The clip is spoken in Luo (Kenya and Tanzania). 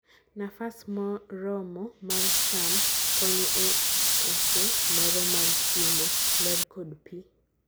nafas moromo mar cham konyo e oso lero mar chiemo, lerr kod pii.